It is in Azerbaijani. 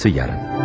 Davamı sabah.